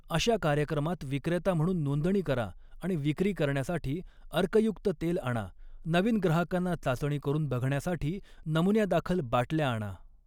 अशा कार्यक्रमात विक्रेता म्हणून नोंदणी करा आणि विक्री करण्यासाठी अर्कयुक्त तेल आणा नवीन ग्राहकांना चाचणी करून बघण्यासाठी नमुन्यादाखल बाटल्या आणा.